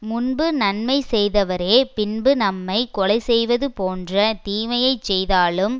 முன்பு நன்மை செய்தவரே பின்பு நம்மை கொலை செய்வது போன்ற தீமையை செய்தாலும்